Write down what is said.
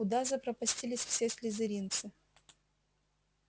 куда запропастились все слизеринцы